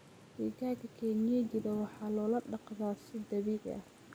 Digaagga kienyejidhaa waxa lo daqdaa si dabiici ah.